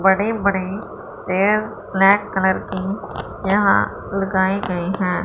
बड़े बड़े पेड़ ब्लैक कलर के यहां लगाए गए हैं।